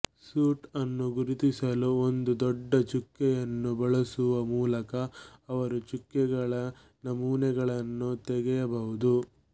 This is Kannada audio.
ಸೂಟ್ ಅನ್ನು ಗುರುತಿಸಲು ಒಂದು ದೊಡ್ಡ ಚುಕ್ಕೆಯನ್ನು ಬಳಸುವ ಮೂಲಕ ಅವರು ಚುಕ್ಕೆಗಳ ನಮೂನೆಗಳನ್ನು ತೆಗೆಯಬಹುದು